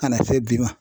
Ka na se bi ma